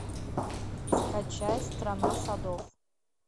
скачай страна садов